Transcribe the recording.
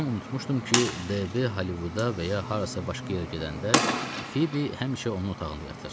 Tamam unutmuşdum ki, DB Hollivuda və ya harasa başqa yerə gedəndə, Fibi həmişə onun otağında yatır.